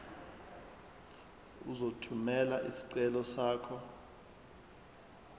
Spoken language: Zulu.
uzothumela isicelo sakho